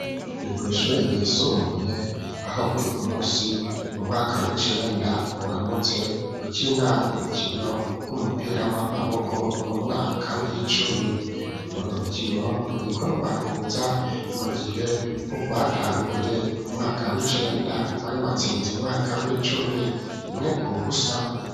Ni kw'ishure risumbuye, aho uyu munsi, umwaka w'icenda, uramutse ukina urukino, rw'umupira w'amaboko, n'umwaka w'icumi; uru rukino, ruriko rubahuza, mu gihe urwatanguye, umwaka w'icenda, wari watsinze, umwaka w'icumi, kimwe ku busa.